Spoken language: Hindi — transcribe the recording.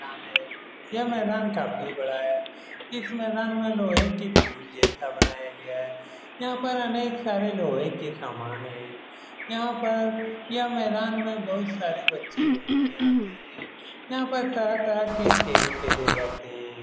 यह मैदान काफी बड़ा है इस मैदान में लोहे के पल जैसा बनाया हुआ है यहां पर अनेक सारे लोहे के समान है यहां पर इस मैदान में बहुत सारे बच्चे घूमने आते हैं यहां पर तरह-तरह के खेल खेले जाते हैं।